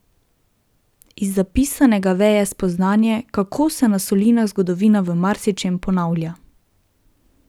Iz zapisanega veje spoznanje, kako se na solinah zgodovina v marsičem ponavlja.